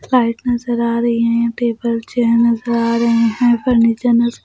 slide नजर आ रही है यहाँ टेबल चेयर नजर आ रहे हैं फर्निचर नजर --